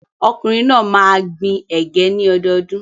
Ọkùnrin náà máa gbin ẹ̀gẹ́ ní ọdọọdún.